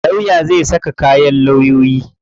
Lawya zai saka kayan lawyoyi.